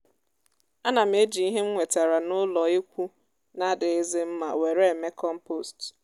ánà m ejì íhe m wétàrà nà ụlọ ekwu na adịghịzi mma wèré èmé kọmpost